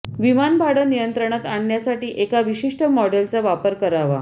विमान भाडं नियंत्रणात आणण्यासाठी एका विशिष्ट मॉडेलचा वापर करावा